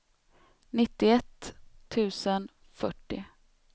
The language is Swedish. nittioett tusen fyrtio